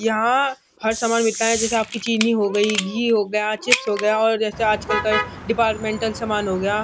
यहाँ हर समान मिलता है जैसे आपकी चीनी हो गयी घी हो गया चिप्स हो गया और जैसे आजकल का डिपार्टमेंटल समान हो गया।